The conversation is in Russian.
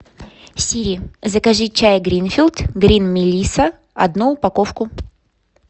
сири закажи чай гринфилд грин мелисса одну упаковку